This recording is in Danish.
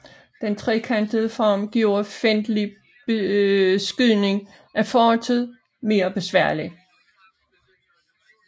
Den trekantede form gjorde fjendtlig beskydning af fortet mere besværligt